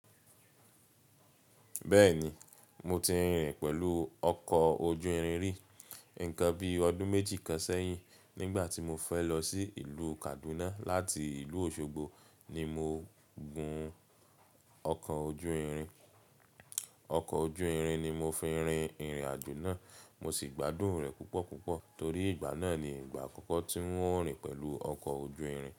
Bẹ́ẹ̀ni, mo ti rin pẹ̀lú oko ojú irin ríi nǹkan bí ọdún méjì kan sẹ́yìn nígbà tí mo fẹ́ lọ sí ìlú Kaduna láti ìlú Osogbo ni mo gun ọkọ̀ ojú irin. Ọkọ̀ ojú irin ni mo fi rin ìrìn-àjò náà, mo sì gbádùn rẹ̀ púpọ̀púpọ̀ torí ìgbà náà ni ìgbà àkọ́kọ́ tí n o rìn pẹ̀lú ọkọ̀ ojú irin.